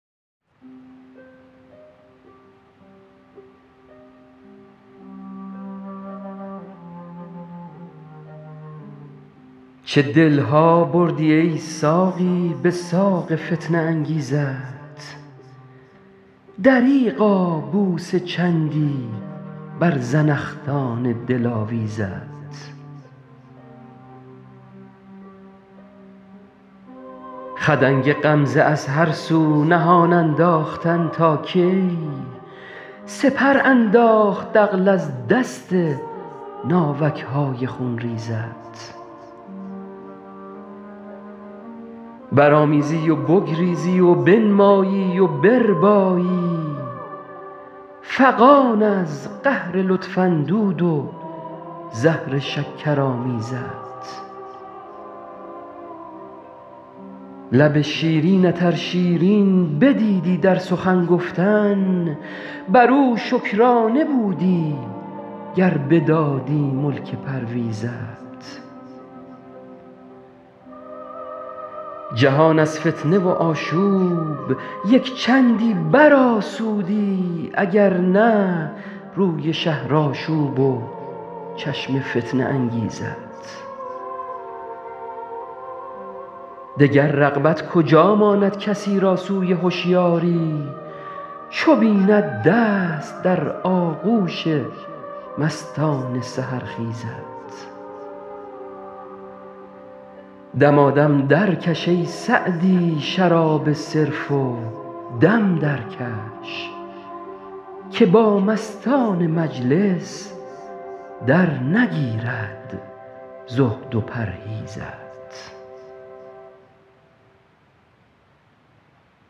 چه دل ها بردی ای ساقی به ساق فتنه انگیزت دریغا بوسه چندی بر زنخدان دلاویزت خدنگ غمزه از هر سو نهان انداختن تا کی سپر انداخت عقل از دست ناوک های خونریزت برآمیزی و بگریزی و بنمایی و بربایی فغان از قهر لطف اندود و زهر شکرآمیزت لب شیرینت ار شیرین بدیدی در سخن گفتن بر او شکرانه بودی گر بدادی ملک پرویزت جهان از فتنه و آشوب یک چندی برآسودی اگر نه روی شهرآشوب و چشم فتنه انگیزت دگر رغبت کجا ماند کسی را سوی هشیاری چو بیند دست در آغوش مستان سحرخیزت دمادم درکش ای سعدی شراب صرف و دم درکش که با مستان مجلس درنگیرد زهد و پرهیزت